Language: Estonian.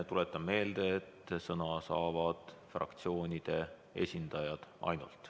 Tuletan meelde, et sõna saavad ainult fraktsioonide esindajad.